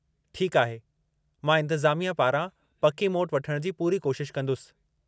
ठीकु आहे, मां इंतिज़ामिया पारां पकी मोट वठणु जी पूरी कोशिश कंदुसि।